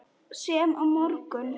Sem á morgun.